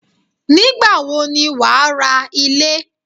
Nígbàwo ni wà á ra Ilé